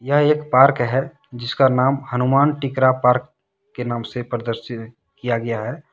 यह एक पार्क है जिसका नाम हनुमान टिकरा पार्क के नाम से प्रदर्शित किया गया है।